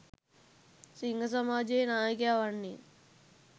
සිංහ සමාජයේ නායකයා වන්නේ